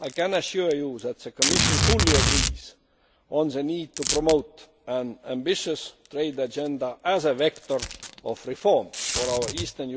I can assure you that the Commission fully agrees on the need to promote an ambitious trade agenda as a vector of reform for our Eastern